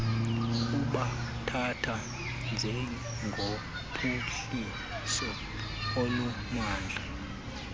kubathatha njengophuhliso olumandla